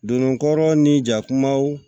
Donna kɔrɔw ni ja kumaw